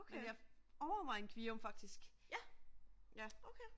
Men jeg overvejer en Kvium faktisk. Ja